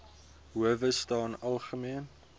howe staan algemeen